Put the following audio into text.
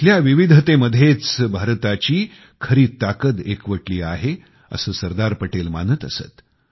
येथील विविधतेमध्येच भारताची खरी ताकद एकवटली आहे असे सरदार पटेल मानत असत